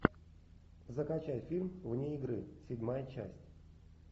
закачай фильм вне игры седьмая часть